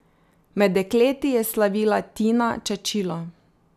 Med dekleti je slavila Tina Čačilo.